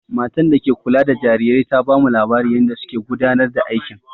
Matan da ke kula da jarirai ta bamu labarin yanda suke gudanar da aikin.